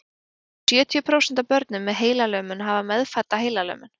um sjötíu prósent af börnum með heilalömun hafa meðfædda heilalömun